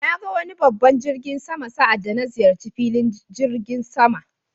Na ga wani babban jirgin sama sa' anda na ziyarci filin jirigin sama.